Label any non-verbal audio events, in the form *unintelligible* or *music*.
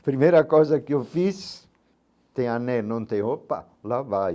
A primeira coisa que eu fiz, *unintelligible* não tem, opa, lá vai.